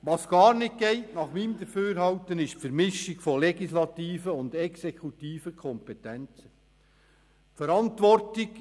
Was nach meinem Dafürhalten gar nicht geht, ist die Vermischung von legislativen und exekutiven Kompetenzen.